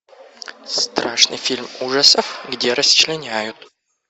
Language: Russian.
страшный фильм ужасов где расчленяют